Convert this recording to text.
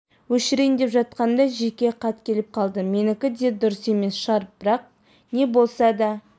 өшірейін деп жатқанымда жеке хаткеліп қалды менікі де дұрыс емес шығар бірақ не болса да